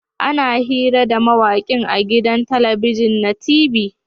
Ana hira da mawakin a gidan talabijin na t.v